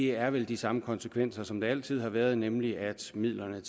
er vel de samme konsekvenser som der altid har været nemlig at midlerne